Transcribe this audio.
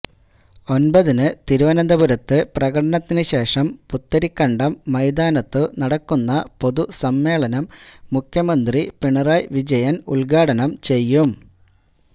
ഒന്പതിന് തിരുവനന്തപുരത്ത് പ്രകടനത്തിനു ശേഷം പുത്തരിക്കണ്ടം മൈതാനത്തു നടക്കുന്ന പൊതുസമ്മേളനം മുഖ്യമന്ത്രി പിണറായി വിജയന് ഉദ്ഘാടനം ചെയ്യും